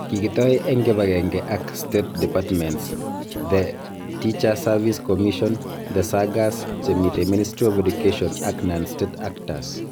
Kikitoi eng kibagenge ak state departments ,the Teache Service Commission, the SAGAs che mitei Ministry of Education ak non -state actors